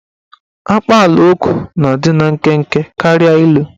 Akpaalaokwu na-adị nkenke karịa ilu.